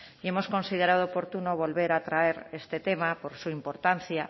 y hemos considerado oportuno volver a traer este tema por su importancia